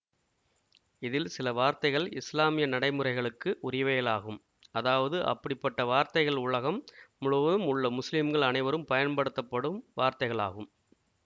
இதில் சில வார்த்தைகள் இஸ்லாமிய நடைமுறைகளுக்கு உரியவைகளாகும் அதாவது அப்படிப்பட்ட வார்த்தைகள் உலகம் முழுவதும் உள்ள முஸ்லிம்கள் அனைவரும் பயன்படுத்தபடும் வார்த்தைகளாகும்